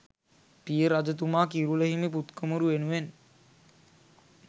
පිය රජතුමා කිරුළ හිමි පුත් කුමරු වෙනුවෙන්